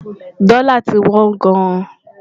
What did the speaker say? dòla tí wón gáàn